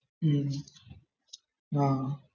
ആഹ് ഹും